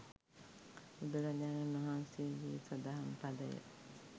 බුදුරජාණන් වහන්සේගේ සදහම් පදය